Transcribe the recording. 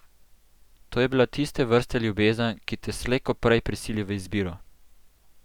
To je bila tiste vrste ljubezen, ki te slej ko prej prisili v izbiro.